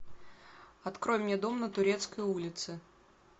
открой мне дом на турецкой улице